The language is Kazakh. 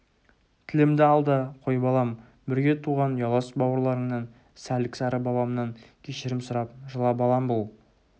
тілімді ал да қой балам бірге туған ұялас бауырларыңнан сәлік-сары бабамнан кешірім сұрап жыла балам бұл